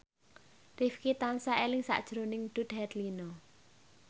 Rifqi tansah eling sakjroning Dude Herlino